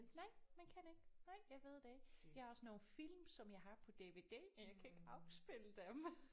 Nej man kan ikke nej jeg ved det jeg har også nogle film som jeg har på DVD og jeg kan ikke afspille dem